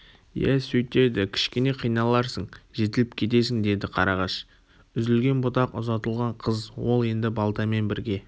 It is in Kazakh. иә сөйтеді кішкене қиналарсың жетіліп кетесің деді қарағаш үзілген бұтақ ұзатылған қыз ол енді балтамен бірге